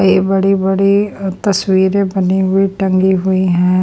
ये बड़ी-बड़ी तस्वीरें बनी हुई टंगी हुई है।